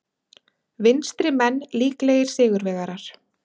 Vinstrimenn líklegir sigurvegarar